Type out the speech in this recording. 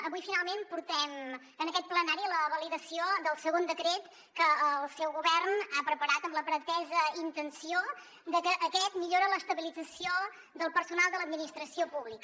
avui finalment portem en aquest plenari la validació del segon decret que el seu govern ha preparat amb la pretesa intenció de que aquest millora l’estabilització del personal de l’administració pública